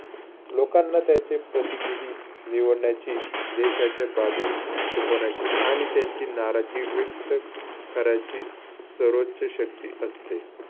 लोकांना त्याचे प्रतिनिधी निवडण्याची, देशाच्या आणि त्यांची नाराजगी व्यक्त करायची सर्वोच्च शक्ती असते.